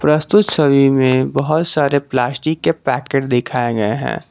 प्रस्तुत छवि में बहोत सारे प्लास्टिक के पैकेट दिखाए गए हैं।